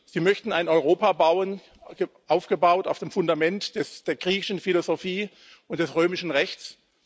Sie möchten ein Europa bauen, aufgebaut auf dem Fundament der griechischen Philosophie und des römischen Rechts.